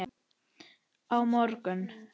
Á morgun